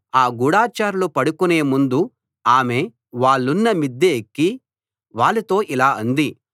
ఆ గూఢచారులు పడుకొనే ముందు ఆమె వాళ్ళున్న మిద్దె ఎక్కి వాళ్ళతో ఇలా అంది